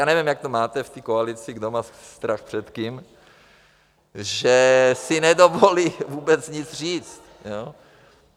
Já nevím, jak to máte v té koalici, kdo má strach před kým , že si nedovolí vůbec nic říct.